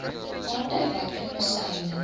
aandui watter medisyne